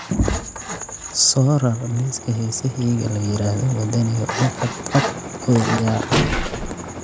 soo rar liiska heesahayga la yiraahdo waddaniga ugu cadcad oo ciyaar